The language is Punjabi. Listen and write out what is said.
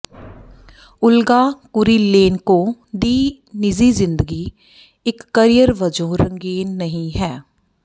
ਓਲਗਾ ਕੁਰੀਲੇਨਕੋ ਦੀ ਨਿੱਜੀ ਜ਼ਿੰਦਗੀ ਇਕ ਕਰੀਅਰ ਵਜੋਂ ਰੰਗੀਨ ਨਹੀਂ ਹੈ